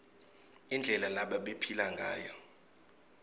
indlela lebabephila ngayo